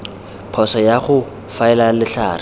phoso ya go faela letlhare